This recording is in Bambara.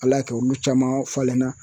Ala y'a kɛ olu caman falenna